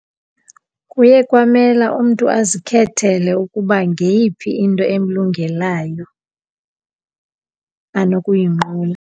Kuye kwamela umntu azikhethele ukuba ngeyiphi into emlungelayo anokuyinqula.